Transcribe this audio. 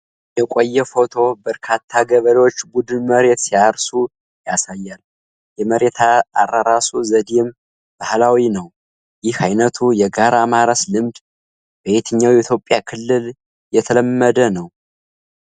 የቆየ ፎቶ በርካታ ገበሬዎች ቡድን መሬት ሲያርሱ ያሳያል፤ የመሬት አራረሱ ዘዴው ባህላዊ ነው። ይህ ዓይነቱ የጋራ ማረስ ልምድ በየትኛው የኢትዮጵያ ክልል የተለመደ ነው?